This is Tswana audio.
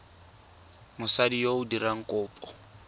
mosadi yo o dirang kopo